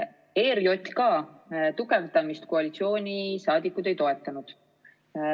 ERJK tugevdamist koalitsiooniliikmed ei toetanud.